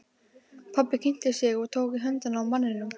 Pabbi kynnti sig og tók í höndina á manninum.